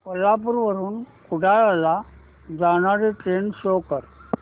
कोल्हापूर वरून कुडाळ ला जाणारी ट्रेन शो कर